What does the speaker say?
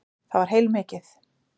Það var heilmikið.